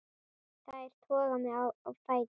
Þær toga mig á fætur.